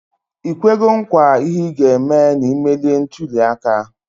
Ikwego nkwa ihe iga eme na imelie ntuli aka?